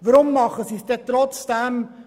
Weshalb senken wir die Steuern trotzdem?